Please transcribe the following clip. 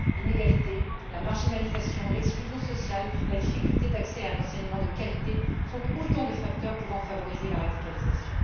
L'inégalité, la marginalisation, l'exclusion sociale, la difficulté d'accès à un enseignement de qualité sont autant de facteurs pouvant favoriser la radicalisation.